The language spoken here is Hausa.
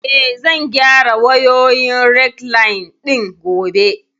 Eh, zan gyara wayoyin rekliine ɗin gobe